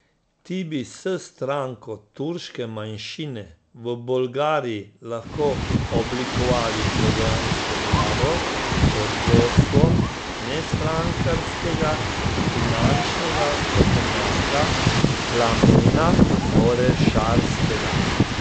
Ti bi s stranko turške manjšine v Bolgariji lahko oblikovali programsko vlado pod vodstvom nestrankarskega finančnega strokovnjaka Plamena Orešarskega.